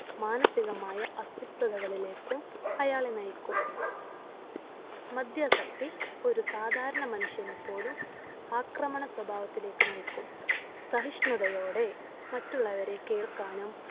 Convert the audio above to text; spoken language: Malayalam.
മാനസികമായ അസ്വസ്ഥതകളിലേക്കും അയാളെ നയിക്കും മദ്യാസക്തി ഒരു സാധാരണ മനുഷ്യനെ പോലും ആക്രമണ സ്വഭാവത്തിലേക്ക് നയിക്കും സഹിഷ്ണുതയോടെ മറ്റുള്ളവരെ കേൾക്കാനും